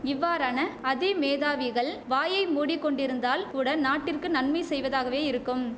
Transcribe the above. இவ்வாறான அதிமேதாவிகள் வாயை மூடிக்கொண்டிருந்தால் கூட நாட்டிற்கு நன்மை செய்வதாகவே இருக்கும்